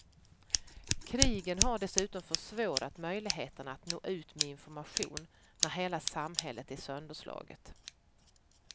Krigen har dessutom försvårat möjligheterna att nå ut med information, när hela samhället är sönderslaget.